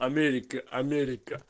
америка америка